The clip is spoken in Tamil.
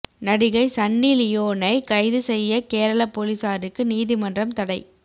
நடிகை சன்னி லியோனை கைது செய்ய கேரள போலீஸாருக்கு நீதிமன்றம் தடை